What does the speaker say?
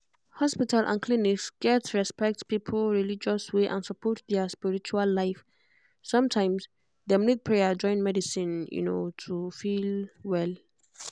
hospital and clinic gats respect people religious way and support their spiritual life. sometimes dem need prayer join medicine to feel well.